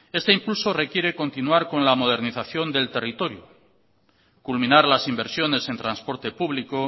este incluso requiere continuar con la modernización del territorio culminar las inversiones en transporte público